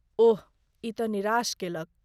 ओह, ई तँ निराश कयलक।